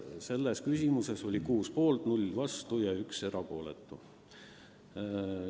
Selles küsimuses oli 6 poolt, 0 vastu ja 1 erapooletu.